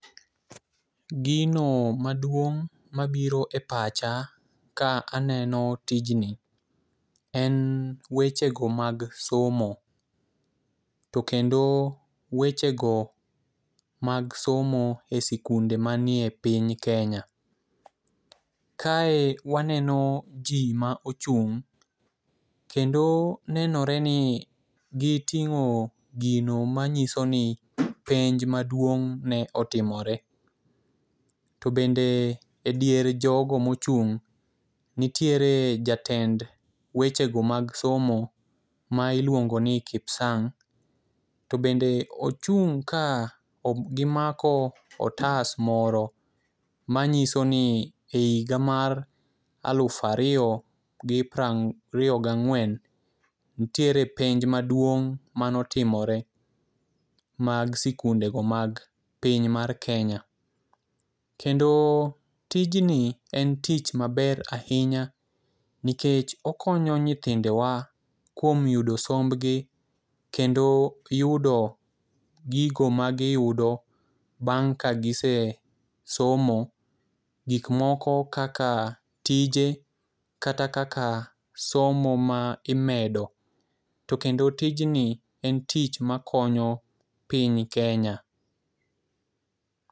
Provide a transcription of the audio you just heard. Gino maduong' mabiro e pacha ka aneno tijni en weche go mag somo .To kendo weche go mag somo e sikunde manie piny kenya. Kae waneno jii ma ochung' kendo nenore ni giting'o gino manyiso ni penj maduong' ne otimore. To bende e dier jogo mochung' nitiere jatend weche go mag somo ma iluongo ni kipsang' . To bende ochung' ka gimako otas moro manyiso ni e higa mar alufa riyo gi pra ng' riyo gang'wen ntiere penj maduong' manotimore mag sikunde go mag piny mar kenya. Kendo tijni en tich maber ahinya nikech okonyo nyithindewa kuom yudo sombgi kendo yudo gigo ma giyudo bang' ka gisesomo .Gik moko kaka tije, kata kaka somo ma imedo to kendo tij ni en tich makonyo piny kenya.